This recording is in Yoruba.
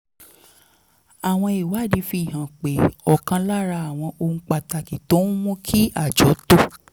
àwọn ìwádìí fi hàn pé ọ̀kan lára àwọn ohun pàtàkì tó ń mú kí àjọ tó